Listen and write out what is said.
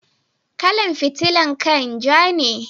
Kala'n fitilan kai'n ja ne.